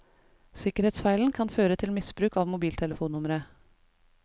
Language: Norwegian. Sikkerhetsfeilen kan føre til misbruk av mobiltelefonnumre.